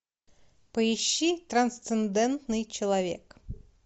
поищи трансцендентный человек